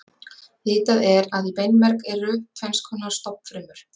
Vitað er að í beinmerg eru tvenns konar stofnfrumur.